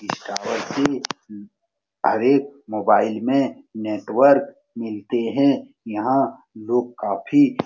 इस टावर से हर एक मोबाइल में नेटवर्क मिलते हैं। यहाँ लोग काफी --